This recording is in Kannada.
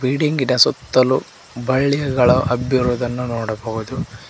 ಬಿಲ್ಡಿಂಗಿನ ಸುತ್ತಲು ಬಳ್ಳಿಗಳು ಹಬ್ಬಿರುವುದನ್ನು ನೋಡಬಹುದು.